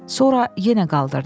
Sonra yenə qaldırdı.